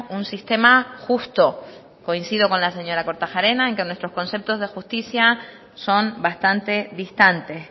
un sistema justo coincido con la señora kortajarena en que nuestros conceptos de justicia son bastante distantes